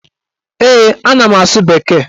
Ee, ana m asụ bekee.